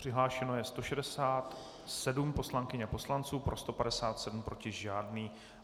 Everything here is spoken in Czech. Přihlášeno je 167 poslankyň a poslanců, pro 157, proti žádný.